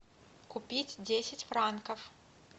купить десять франков